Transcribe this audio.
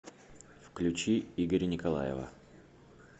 включи игоря николаева